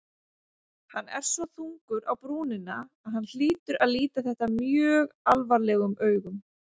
Hann er svo þungur á brúnina að hann hlýtur að líta þetta mjög alvarlegum augum.